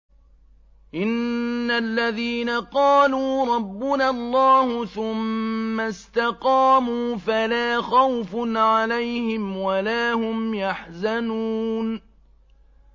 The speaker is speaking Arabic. إِنَّ الَّذِينَ قَالُوا رَبُّنَا اللَّهُ ثُمَّ اسْتَقَامُوا فَلَا خَوْفٌ عَلَيْهِمْ وَلَا هُمْ يَحْزَنُونَ